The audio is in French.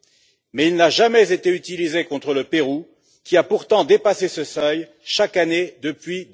Cependant, il n'a jamais été utilisé contre le Pérou, qui a pourtant dépassé ce seuil chaque année depuis